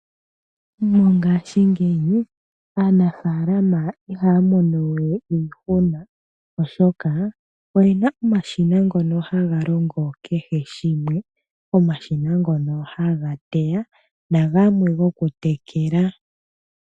Mongaashingeyi aanafaalama ihaa mono we iihuna oshoka oyena omashina ngono haga longo kehe shimwe. Omashina ngono haga teya nagamwe gokutekela.